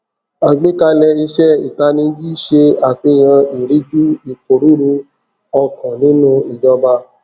àgbékalẹ iṣẹ itaniji se àfihàn ìríjú iporuru okan nínú ìjọba